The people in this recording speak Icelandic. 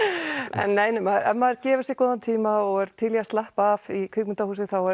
en nei ef maður gefur sér góðan tíma og er til í að slappa af í kvikmyndahúsi þá